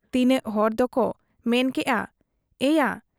ᱛᱤᱱᱟᱹᱜ ᱦᱚᱲ ᱫᱚᱠᱚ ᱢᱮᱱ ᱠᱮᱜ ᱟ ᱮᱭᱟ ᱾